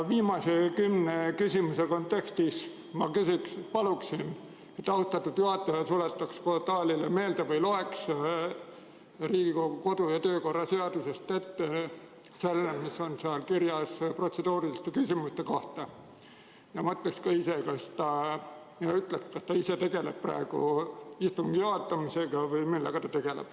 Viimase kümne küsimuse kontekstis ma paluksin, et austatud juhataja tuletaks saalile meelde või loeks Riigikogu kodu‑ ja töökorra seadusest ette selle, mis on seal kirjas protseduuriliste küsimuste kohta, ja mõtleks ka ise, kas ta ise tegeleb praegu istungi juhatamisega või millega ta tegeleb.